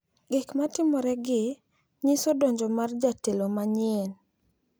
Gik ma timoregi nyiso donjo mar jatelo manyien.